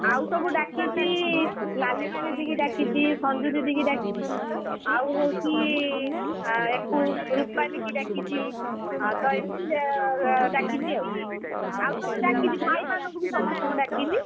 ଆଉ ସବୁ ଡାକିଚି, ଲାଲିମା ଦିଦିକୁ ଡାକିଛି, ସଞ୍ଜୁ ଦିଦିକୁ ଡାକିଛି, , ଆଉ ହଉଛି , ଅ ୟାକୁ ରୁପାଲୀକୁ ଡାକିଛି, ତ ଏମିତି, ଡାକିଛି ଆଉ, ଆଉ ସବୁ ଡାକିଛି, ଭାଇ ମାନଙ୍କୁ ବି ସମସ୍ତଙ୍କୁ ଡାକିଛି।